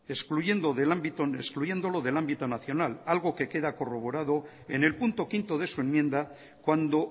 excluyéndolo del ámbito nacional algo que queda corroborado en el punto quinto de su enmienda cuando